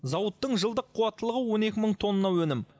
зауыттың жылдық қуаттылығы он екі мың тонна өнім